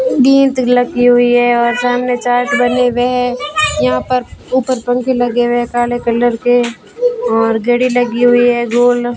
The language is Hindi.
गीत लगी हुई है और सामने चार्ट बने हुए हैं यहां पर ऊपर पंख लगे हुए काले कलर के और घड़ी लगी हुई है गोल।